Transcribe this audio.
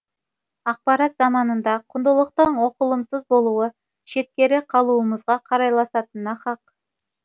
ақпарат заманында құндылықтың оқылымсыз болуы шеткері қалуымызға қарайласатына хақ